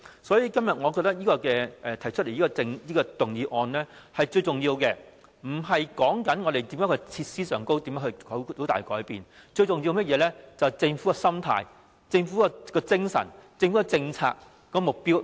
所以，我認為今天提出的這項議案，針對的並非要在設施上有甚麼大改變，最重要的其實是政府的心態、精神和政策目標。